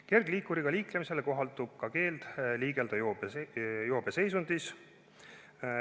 Kergliikuriga liiklemisele kohaldub ka keeld liigelda joobeseisundis.